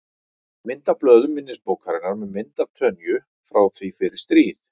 Mynd af blöðum minnisbókarinnar með mynd af Tönyu frá því fyrir stríð.